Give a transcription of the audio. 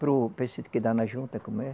Para o, para esse que dá na junta, como é?